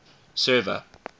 server